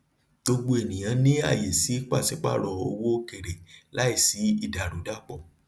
gbogbo ènìyàn ní àyè sí pàsípàrọ owó òkèèrè láì sí ìdàrúdàpọ